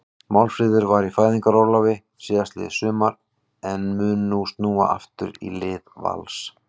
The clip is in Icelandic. Málfríður var í fæðingarorlofi síðastliðið sumar en mun nú snúa aftur í lið Vals.